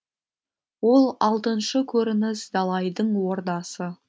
он алтыншы көрініс далайдың ордасы